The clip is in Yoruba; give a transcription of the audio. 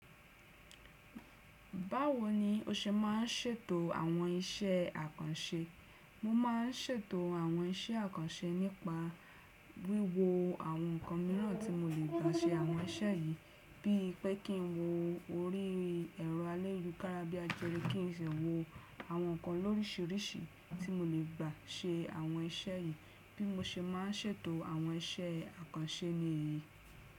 Báwo ni o ṣe má n ṣètò àwọn iṣẹ́ àkànṣe? Mo má n ṣètò àwọn iṣẹ́ àkànṣe nípa wíwo àwọn nǹkan mìíràn tí mo lè gbà ṣe àwọn iṣẹ́ yìí. Bí i pé kí n wo orí ẹ̀rọ ayélujára bí àjere kí n sì wo àwọn nǹkan lórísìíríṣìí tí mo lè gbà ṣe àwọn iṣẹ́ yìí. Bí mo ṣe má n ṣètò àwọn iṣẹ́ àkànṣe nìyí.